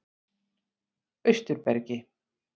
Austurbergi